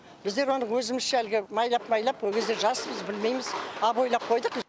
біздер оны өзімізше әлгі майлап майлап ол кезде жаспыз білмейміз обойлап қойдық